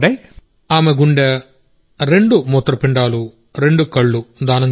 ఆమె గుండె రెండు కిడ్నీలు కాలేయం రెండు కళ్ళు దానం చేశాం